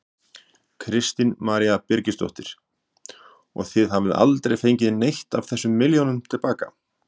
Kristín María Birgisdóttir: Og þið hafið aldrei fengið neitt af þessum milljónum til baka?